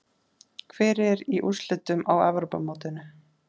Hver er í úrslitunum á Evrópumótinu?